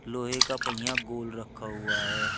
लोहे का पहिया गोल रखा हुआ है।